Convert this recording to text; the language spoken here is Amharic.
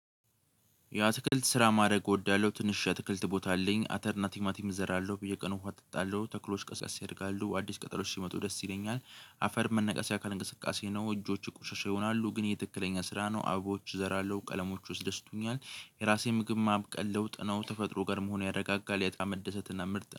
የአትክልት ስራ ማድረግ እወዳለሁ ትንሽ አትክልት ቦታ አለኝ አተር እና ቲማቲም እዘራለሁ በየቀኑ ውሃ እጠጣለሁ ተክሎች ቀስ ቀስ ይደርጋሉ አዲስ ቀጠሎች ሲመጡ ደስ ይለኛል። አፈር መነቀሻ አካል እንቅስቃሴ ነው እጆቹ ቁሻሻ ይሆናሉ ግን ይሄ ትክክለኛ ስራ ነው አበቦች እዘራለሁ ቀለሞች ያስደስቶኛል። የራሴን ምግብ ማብቀል ለውጥ ነው ተፈጥሮ ጋር መሆን ያረጋጋል በጣም መደሰትና ምርጥ።